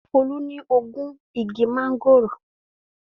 Folú ní ogún igi máńgòrò.